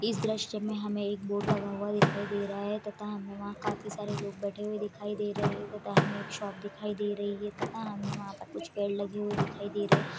इस दृश्य में हमें एक बोर्ड लगा हुआ दिखाई दे रहा है तथा हमें वहां काफी सारे लोग बैठे हुए दिखाई दे रहे हैं और हमें एक शॉप दिखाई दे रहे हैं तथा हमें वहां पर कुछ पड़े लेंगे दिखाई दे रहा है।